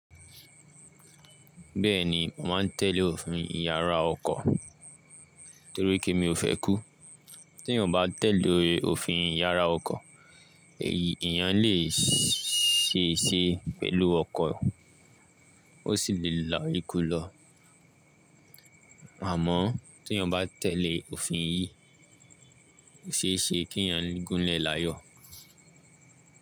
Bẹ́ẹ̀ni, màá tẹ̀lé òfin ìyára ọkọ̀ torí pé mi ò fẹ́ kú. Tí ènìyàn bá tẹ̀lé òfin ìyára ọkọ̀, èyí ènìyàn lè ṣe é ṣe pẹ̀lú ọkọ̀, ó sì lè là íkú lọ. Àmọ́ tí ènìyàn bá tẹ̀lé òfin yìí, ṣe é ṣe kí ènìyàn gúnlẹ̀ láyọ̀.